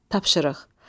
Tapşırıq.